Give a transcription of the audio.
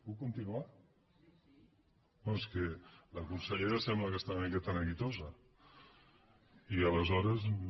puc continuar no és que la consellera sembla que està una miqueta neguitosa i aleshores no